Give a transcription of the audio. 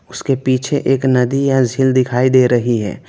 उसके पीछे एक नदी या झील दिखाई दे रही है।